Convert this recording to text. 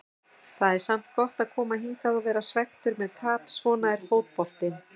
Það er samt gott að koma hingað og vera svekktur með tap, svona er fótboltinn.